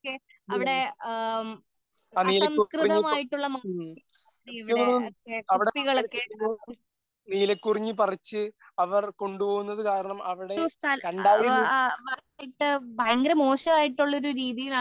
അവിടെ അസംസ്കൃതമായിട്ടുള്ള മാലിന്യങ്ങൾ ഇവിടെ കുപ്പികൾ ഒക്കെ ഭയങ്കര മോശമായിട്ടുള്ള ഒരു രീതിയിൽ ആണ്